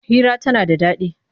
Hira tana da daɗi.